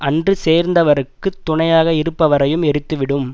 அன்று சேர்ந்தவர்க்குத் துணையாக இருப்பவரையும் எரித்துவிடும்